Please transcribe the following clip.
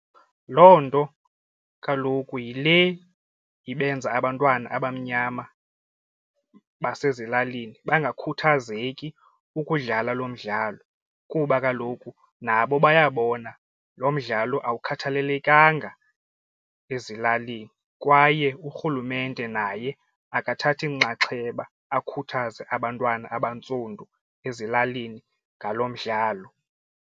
Loo nto kaloku yile ibenza abantwana abamnyama basezilalini bangakhuthazeki ukudlala lo mdlalo kuba kaloku nabo bayabona lo mdlalo awukhathalelekanga ezilalini kwaye urhulumente naye akathathi nxaxheba akhuthaze abantwana abantsundu ezilalini ngalo mdlalo.